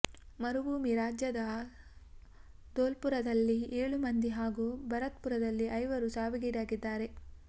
ಮರುಭೂಮಿ ರಾಜ್ಯದ ದೋಲ್ಪುರದಲ್ಲಿ ಏಳು ಮಂದಿ ಹಾಗೂ ಭರತ್ಪುರದಲ್ಲಿ ಐವರು ಸಾವಿಗೀಡಾಗಿದ್ದಾರೆ